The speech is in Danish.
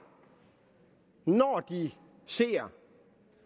det helt sikkert